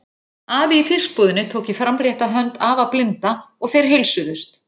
Afi í fiskbúðinni tók í framrétta hönd afa blinda og þeir heilsuðust.